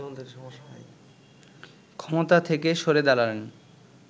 ক্ষমতা থেকে সরে দাঁড়ালেন